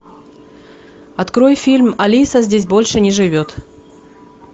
открой фильм алиса здесь больше не живет